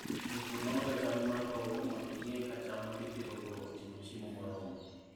Jopur nonoga chal mar lowo mondo ging'e ka cham ma gipidhogo oting'o chiemo moromo.